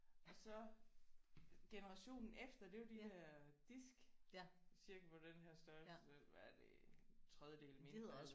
Og så generationen efter det er jo de der disk cirka på den her størrelse hvad er det en tredjedel mindre